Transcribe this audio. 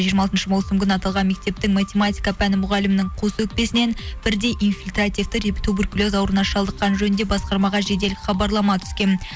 жиырма алтыншы маусым күні аталған мектептің математика пәні мұғалімнің қос өкпесінен бірдей инфильтативті туберкулез ауруына шалдыққан жөнінде басқармаға жедел хабарлама түскен